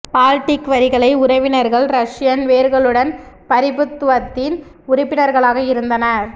Baltic வரிகளை உறவினர்கள் Russian வேர்களுடன் பிரபுத்துவத்தின் உறுப்பினர்களாக இருந்தனர்